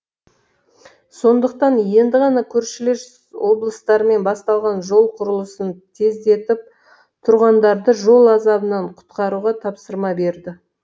сондықтан енді ғана көршілес облыстармен басталған жол құрылысын тездетіп тұрғындарды жол азабынан құтқаруға тапсырма берді